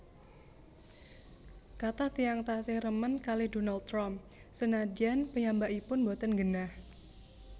Kathah tiyang tasih remen kalih Donald Trump senadyan piyambakipun mboten nggenah